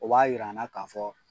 O b'a yira an na k'a fɔ